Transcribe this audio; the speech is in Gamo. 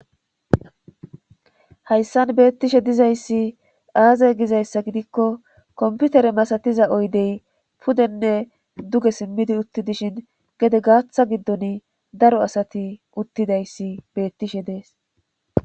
hayssan beettishe dizayssi aazay gizayssa gidikko komputere masatiza oydey pudenne duge simmidi uttidishin gede gaaththa giddon daro asati uttidayssi beettishe dees